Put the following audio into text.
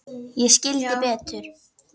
Ég skildi Betu.